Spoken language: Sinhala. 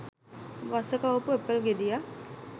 වස කවපු ඇපල් ගෙඩියක්